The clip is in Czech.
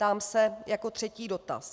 Ptám se jako třetí dotaz.